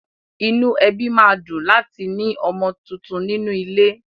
Inú ẹbí ma dùn láti mi ọmọ tuntun nínú ilé.